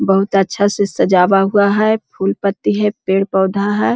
बहुत अच्छा से सजावा हुआ है फूल-पत्ती है पेड़-पौधा है।